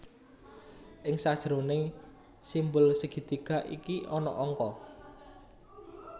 Ing sanjeroné simbol segitiga iki ana angka